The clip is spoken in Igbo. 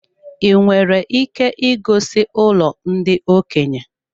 I nwere ike igosi ụlọ ndị okenye?